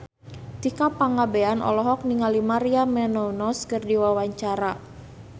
Tika Pangabean olohok ningali Maria Menounos keur diwawancara